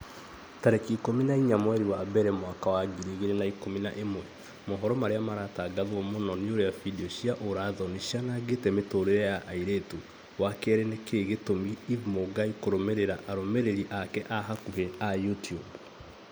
tarĩki ikũmi na inya mweri wa mbere mwaka wa ngiri igĩrĩ na ikũmi na ĩmwe mohoro marĩa maratangatwo mũno ni ũrĩa findio cia ũũra-thoni cianangĩte mĩtũrĩre ya airĩtu wa kerĩ nĩkĩĩ gĩtũmaga eve mũngai kũrũmĩrĩra arũmĩrĩri ake a hakuhi a YouTUBE